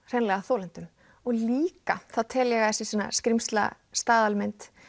hreinlega þolendum líka þá tel ég að þessi skrímsla staðalmynd